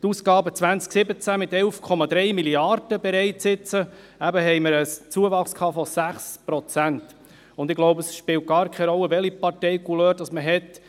In den Ausgaben 2017 mit 11,3 Mrd. Franken bereits jetzt, hatten wir eben einen Zuwachs von 6 Prozent, und ich glaube, es spielt gar keine Rolle, welche Parteicouleur man hat.